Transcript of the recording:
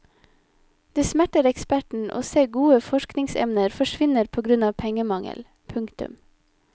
Det smerter eksperten å se gode forskningsemner forsvinne på grunn av pengemangel. punktum